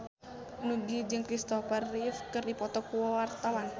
Nugie jeung Kristopher Reeve keur dipoto ku wartawan